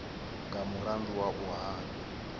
nga mulandu wa u hana